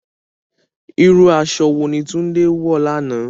Irú aṣọ wo ni Tunde wọ̀ lánàá?